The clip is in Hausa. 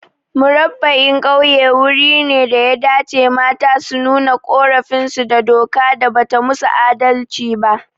Murabba'in Ƙauye wuri ne daya dace mata su nuna ƙorafin su da doka da bata musu adalci ba